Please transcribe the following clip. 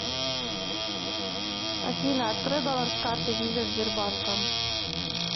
афина открой баланс карты виза сбербанка